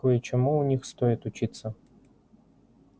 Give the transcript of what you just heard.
кое-чему у них стоит учиться